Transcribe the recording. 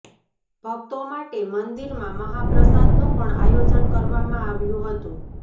ભક્તો માટે મંદિરમાં મહાપ્રસાદનું પણ આયોજન કરવામાં આવ્યું હતું